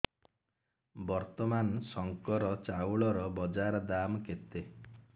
ବର୍ତ୍ତମାନ ଶଙ୍କର ଚାଉଳର ବଜାର ଦାମ୍ କେତେ